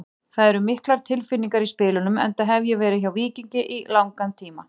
Það eru miklar tilfinningar í spilunum enda hef ég verið hjá Víkingi í langan tíma.